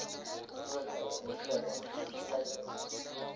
grootouer kind kleinkind